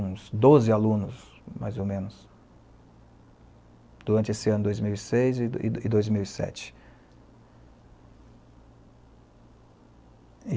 Uns doze alunos, mais ou menos, durante esse ano dois mil e seis e do dois mil e sete